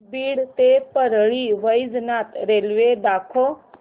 बीड ते परळी वैजनाथ रेल्वे दाखव